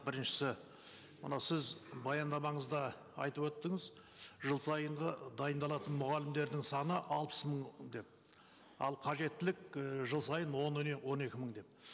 біріншісі мына сіз баяндамаңызда айтып өттіңіз жыл сайынғы дайындалатын мұғалімдердің саны алпыс мың деп ал қажеттілік і жыл сайын он он екі мың деп